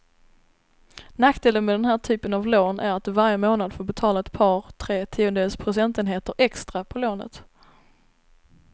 Nackdelen med den här typen av lån är att du varje månad får betala ett par, tre tiondels procentenheter extra på lånet.